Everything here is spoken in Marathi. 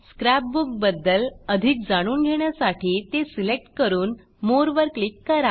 स्क्रॅपबुक बद्दल अधिक जाणून घेण्यासाठी ते सिलेक्ट करून मोरे वर क्लिक करा